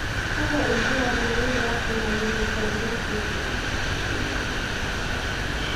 Kakwa ibulabul wonduat e Myelofibrosis?